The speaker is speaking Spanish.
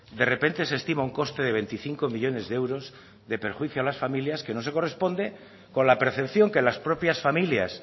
de repente se estima un coste de veinticinco millónes de euros de perjuicio a las familias que no se corresponde con la percepción que las propias familias